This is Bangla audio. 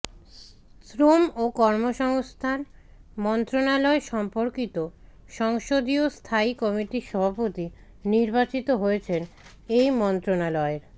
শ্রম ও কর্মসংস্থান মন্ত্রণালয় সম্পর্কিত সংসদীয় স্থায়ী কমিটির সভাপতি নির্বাচিত হয়েছেন এই মন্ত্রণালয়ের